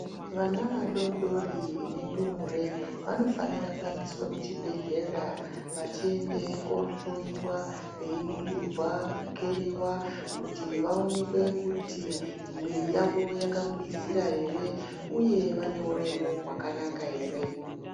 Vana vadoodori nendumure vanofanire kuendeswe kuchibhedhlera vachiende kohloyiwa veiningirwa, kukeriwa kuti vaonekwe kuti mwiri yawo yakambwizira ere uye vane uremu hwakanaka ere.